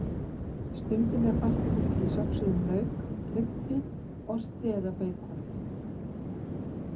Stundum er bætt út í söxuðum lauk, kryddi, osti eða beikoni.